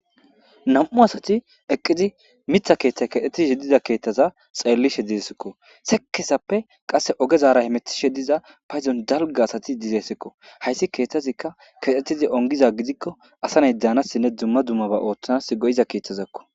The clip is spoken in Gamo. nam7u asati eqqizi mitha keeththay kedhetishe diza keettaza xeellishe dizesikko sekesappe qasse ogezaara hemetishe diza payzon dalga asati dizeesikko hayssi keetazikka kexxetizi ongiza gidikko asanay daanassinne dumma dummaba ooththanas go7iza keeththazakko